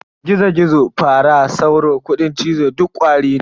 Gizo-Gizo, Fara, Sauro, Kuɗin cizo duk Ƙwari ne.